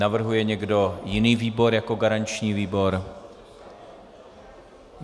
Navrhuje někdo jiný výbor jako garanční výbor?